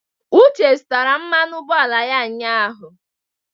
Uche zụtara mmanụ ụgbọala ya ụnyahụ.